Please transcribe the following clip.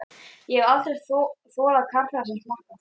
Ég hef aldrei þolað karla sem smakka.